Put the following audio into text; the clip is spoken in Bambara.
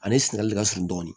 Ale sunayali ka surun dɔɔni